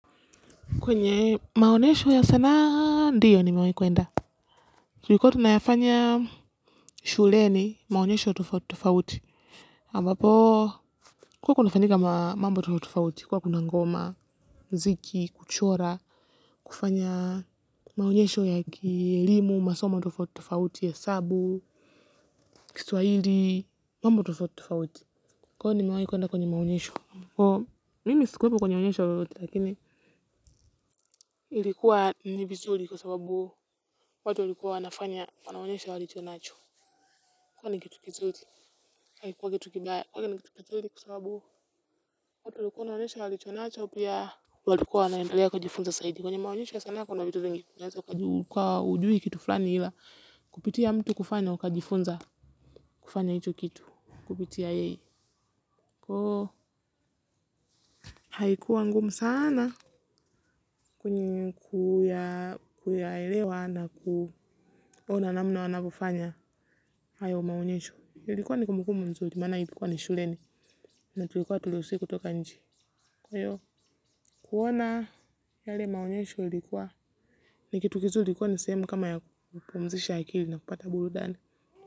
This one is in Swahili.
Kwenye maonesho ya sanaa ndio nimewehi kuenda. Tulikua tunayafanya shuleni maonyesho tofauti tofauti. Ampapo kulikua kunafanyika mambo tofauti tofauti kwa kuna ngoma, muziki, kuchora, kufanya maonyesho ya kiliemu, masoma tofauti tofauti, hesabu, kiswahili, mambo tofauti tofauti. Kwani nimewahi kwenda kwenye maonyesho. Mimi sikuwepo kwenye onyesho lolote lakini. Ilikuwa ni vizuri kwa sababu watu walikuwa wanafanya wanaonyesha walicho nacho. Kwani ni kitu kizuri, haikuwa kitu kibaya. Kwani ni kitu kizuri kwa sababu watu walikuwa wanaonyesha walichonacho pia walikuwa wanaendelea kujifunza zaidi. Kwenye maonyesho ya sanaa kuna vitu vingi. Ka haujui kitu fulani ila kupitia mtu kufanya, ukajifunza kufanya hicho kitu. Kupitia yeye. Haikuwa ngumu sana kwenye kuyaelewa na kuona namna wanavofanya. Hayo maonyesho ilikuwa ni kumbukumbu nzuri maana ilikuwa ni shuleni na tulikuwa haturuhusiwi kutoka nje kwa hiyo kuona yale maonyesho ilikuwa ni kitu kizuri kwani ni sehemu kama ya kupumzisha akili na kupata burudani.